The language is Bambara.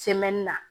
la